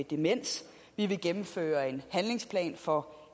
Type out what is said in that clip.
demens vi vil gennemføre en handlingsplan for